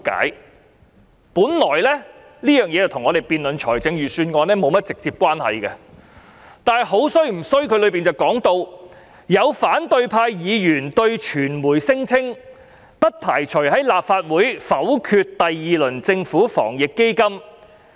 這本來與我們辯論財政預算案沒有直接關係，但當中談到"有反對派議員對媒體聲稱，不排除在立法會否決第二輪政府防疫抗疫基金。